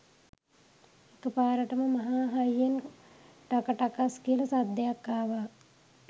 එක පාරටම මහා හයියෙන්ටක ටකස් කියල සද්දයක් ආවා